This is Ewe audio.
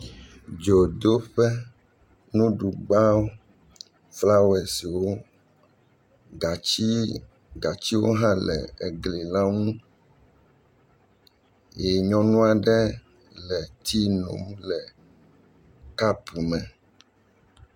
Dzodoƒe nuɖugbawo kple flawɔesiwo, gatsi gatsiwo hã le egli la ŋu, ye nyɔnu aɖe le tii num le kapu me.